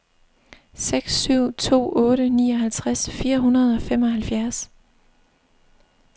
seks syv to otte nioghalvtreds fire hundrede og femoghalvfjerds